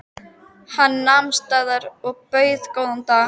Hann nam staðar og bauð góðan dag.